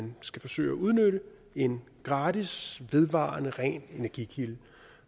man skal forsøge at udnytte en gratis vedvarende ren energikilde